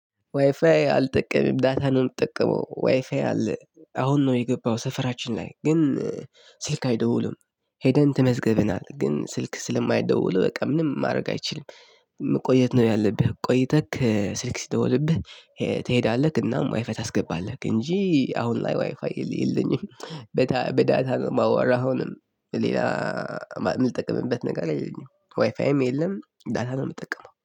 ዋይፋይ አልጠቀምም ዳታ ነው እምጠቀመው ዋይፋይ አለ አሁን ነው የገባው ሰፈራችን ላይ ግን ስልክ አይደውሉም። ሄደን ተመዝገብናል ግን ስልክ ስለማይደውሉ በቃ ምንም ማድረግ አይችልም። መቆየት ነው ያለብህ ቆይተክ ስልክ ሲደወልብህ። ትሄዳለህ እናም ዋይፋይ ታስገባለህ እንጂ አሁን ላይ ዋይፋይ የለኝም። በታ በዳታ ማዋራ አሁንም ሌላ የምጠቅምበት ነገር የለኝም። ዋይፋይም የለም ዳታ ነው የምጠቀመው